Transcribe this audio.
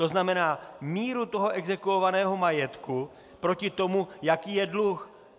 To znamená míru toho exekuovaného majetku proti tomu, jaký je dluh.